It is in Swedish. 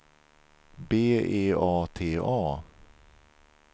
B E A T A